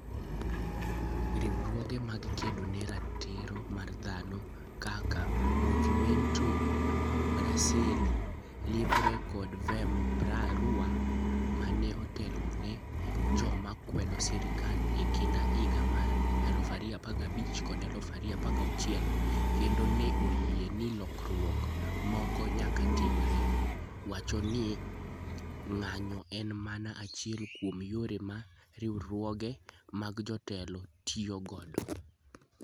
Riwruoge mag kedo ne ratiro mag dhano kaka Movimento Brasil Livre kod Vem pra Rua, ma ne otelo ne joma kwedo sirkal e kind higa mar 2015 kod 2016 kendo ne oyie ni lokruok moko nyaka timre, wacho ni ng'anyo en mana achiel kuom yore ma riwruoge mag jotelo tiyo godo.